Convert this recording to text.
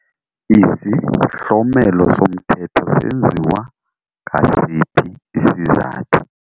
Izihlomelo somthetho senziwa ngasiphi isizathu?